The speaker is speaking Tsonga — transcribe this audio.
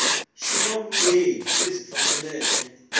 xi na vulehi lebyi faneleke